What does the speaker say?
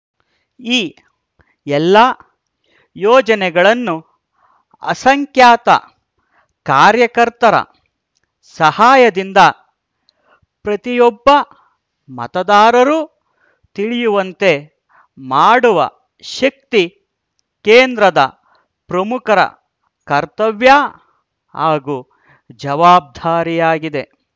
ಈ ಎಲ್ಲ ಯೋಜನೆಗಳನ್ನು ಅಸಂಖ್ಯಾತ ಕಾರ್ಯಕರ್ತರ ಸಹಾಯದಿಂದ ಪ್ರತಿಯೊಬ್ಬ ಮತದಾರರು ತಿಳಿಯುವಂತೆ ಮಾಡುವ ಶಕ್ತಿ ಕೇಂದ್ರದ ಪ್ರಮುಖರ ಕರ್ತವ್ಯ ಹಾಗೂ ಜವಾಬ್ದಾರಿಯಾಗಿದೆ